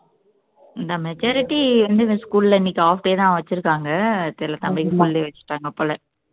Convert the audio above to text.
இந்த majority வந்து இந்த school ல இன்னைக்கு half day தான் வச்சிருக்காங்க தெரியலே தம்பிக்கு full day வச்சுட்டாங்க போல